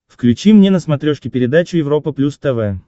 включи мне на смотрешке передачу европа плюс тв